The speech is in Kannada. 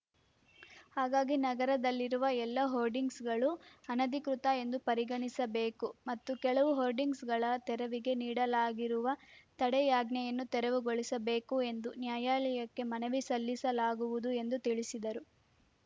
ಹಾಗಾಗಿ ನಗರದಲ್ಲಿರುವ ಎಲ್ಲ ಹೋರ್ಡಿಂಗ್ಸ್‌ಗಳು ಅನಧಿಕೃತ ಎಂದು ಪರಿಗಣಿಸಬೇಕು ಮತ್ತು ಕೆಲವು ಹೋರ್ಡಿಂಗ್ಸ್‌ಗಳ ತೆರವಿಗೆ ನೀಡಲಾಗಿರುವ ತಡೆಯಾಜ್ಞೆಯನ್ನು ತೆರವುಗೊಳಿಸಬೇಕು ಎಂದು ನ್ಯಾಯಾಲಯಕ್ಕೆ ಮನವಿ ಸಲ್ಲಿಸಲಾಗುವುದು ಎಂದು ತಿಳಿಸಿದರು